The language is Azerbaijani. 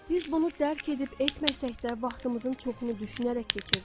Biz bunu dərk edib etməsək də vaxtımızın çoxunu düşünərək keçiririk.